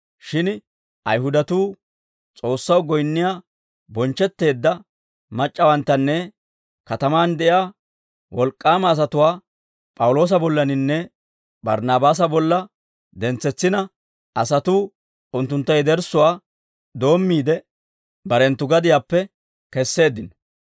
Shin Ayihudatuu S'oossaw goyinniyaa bonchchetteedda mac'c'awanttanne katamaan de'iyaa wolk'k'aama asatuwaa P'awuloosa bollaninne Barnaabaasa bolla dentsetsina, asatuu unttuntta yederssuwaa doommiide, barenttu gadiyaappe keseeddino.